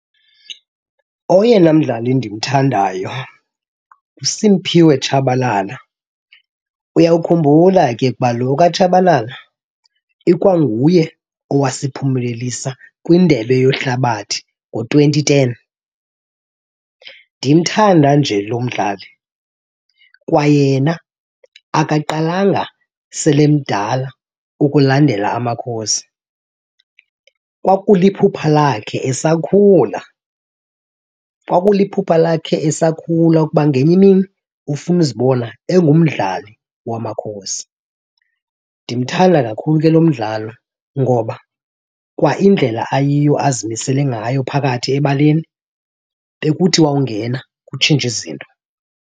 Oyena mdlali ndimthandayo nguSiphiwe Tshabalala. Uyawukhumbula ke kuba lo kaTshabalala ikwanguye owasiphumelelisa kwindebe yehlabathi ngo-twenty ten. Ndimthanda nje lo mdlali kwayena akaqalanga sele emdala ukulandela amaKhosi, kwakuliphupha lakhe esakhula kwakuliphupha lakhe esakhula ukuba ngenye imini ufuna uzibona engumdlali wamaKhosi. Ndimthanda kakhulu ke lo mdlali ngoba kwaindlela ayiyo, azimisele ngayo phakathi ebaleni, bekuthi awungena kutshintshe izinto.